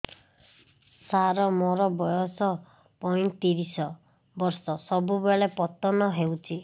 ସାର ମୋର ବୟସ ପୈତିରିଶ ବର୍ଷ ସବୁବେଳେ ପତନ ହେଉଛି